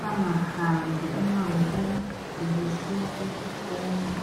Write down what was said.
bangahambi umango omude besiya esikolo.